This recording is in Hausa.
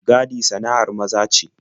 Gadi sana'ar maza ce.